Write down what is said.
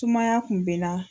Sumaya kun bɛ na.